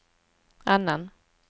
annan